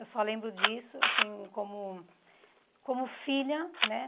Eu só lembro disso, assim, como... Como filha, né?